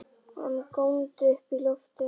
Hann góndi upp í loftið!